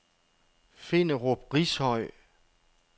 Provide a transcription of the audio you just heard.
Finderup Rishøj